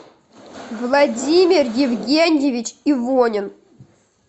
владимир евгеньевич ивонин